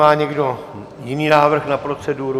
Má někdo jiný návrh na proceduru?